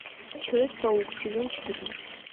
человек паук сезон четырнадцать